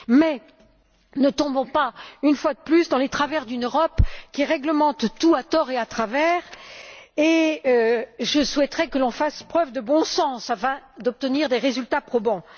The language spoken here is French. Mais ne tombons pas une fois de plus dans les travers d'une Europe qui réglemente tout à tort et à travers. Je souhaiterais que l'on fasse preuve de bon sens afin d'obtenir des résultats probants.